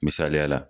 Misaliya la